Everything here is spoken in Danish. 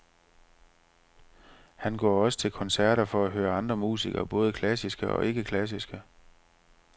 Han går også til koncerter for at høre andre musikere, både klassiske og ikke klassiske.